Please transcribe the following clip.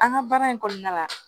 An ka baara in kɔnɔna la